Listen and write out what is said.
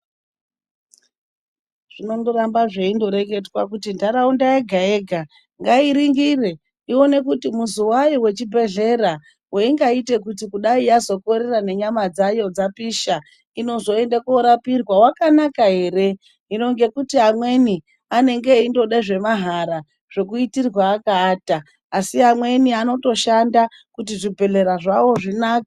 Zvinondoramba zveindoreketwa kuti ntharaunda yega-yega ngairingire, ione kuti muzi wayo wechibhedhlera weingaite kuti yazokorera nenyama dzavo dzapisha inozoenda koorapirwa wakanaka ere? Hino ngekuti amweni anenge eindoda zvemahara zvekundoitirwa akaata. Asi amweni anotoshanda kuti zvibhedhlera zvawo zvinake.